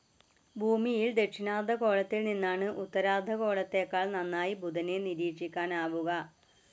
ഭൂമിയിൽ ദക്ഷിണാർദ്ധഗോളത്തിൽ നിന്നാണ്‌ ഉത്തരാർദ്ധഗോളത്തെക്കാൾ നന്നായി ബുധനെ നിരീക്ഷിക്കാനാവുക.